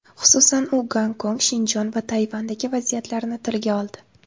Xususan, u Gonkong, Shinjon va Tayvandagi vaziyatlarni tilga oldi.